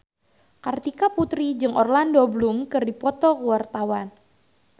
Kartika Putri jeung Orlando Bloom keur dipoto ku wartawan